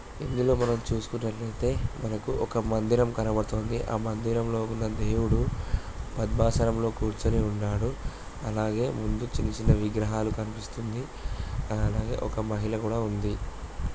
ఇందులో మనం చూసుకున్నట్టయితే మనకు ఒక మందిరం కనబడుతుంది. ఆ మందిరంలో ఉన్న దేవుడు గర్భశయ్యలో కూర్చొని ఉన్నాడు. అలాగే ముందు చిన్న చిన్న విగ్రహాలు కనిపిస్తుంది. అలాగే ఒక మహిళ కూడా ఉంది.